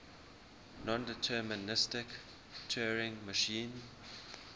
nondeterministic turing machine